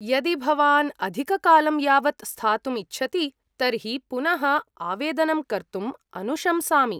यदि भवान् अधिककालं यावत् स्थातुम् इच्छति तर्हि पुनः आवेदनं कर्तुं अनुशंसामि।